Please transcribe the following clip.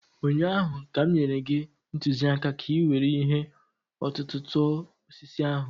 ụnyaahụ ka m nyere gị ntụziaka ka ị were ihe ọ̀tụ̀tụ̀ tụọ osisi ahụ.